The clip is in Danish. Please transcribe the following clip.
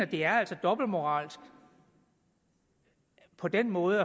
det er dobbeltmoralsk på den måde